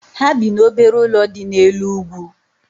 Ha bi n'obere ụlọ dị n'elu ugwu